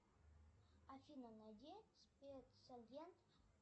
афина найди спецагент